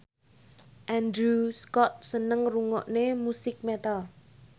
Andrew Scott seneng ngrungokne musik metal